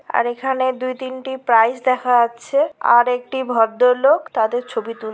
আর এইখানে দুই তিনটি প্রাইজ দেখা যাচ্ছে। আর একটি ভদ্রলোক তাদের ছবি তুল--